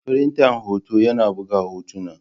Firinta hoto yana buga hotuna.